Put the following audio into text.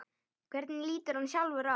Hvernig lítur hann sjálfur á?